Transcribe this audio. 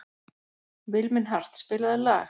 Vilmenhart, spilaðu lag.